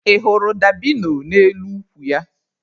Ị hụrụ dabino n'elu ukwu ya?